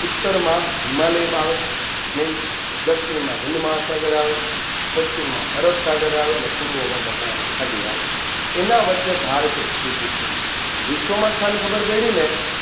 ઉત્તરમાં હિમાલયમાં આવે Main દક્ષિણમાં હિન્દમહાસાગરનો આવે પશ્ચિમમાં અરબસાગર આવે અને પૂર્વમાં બંગાળાની ખાડી આવે એના વચ્ચે ભારત સ્થિત છે વિશ્વમાં સ્થાન ખબર પડીને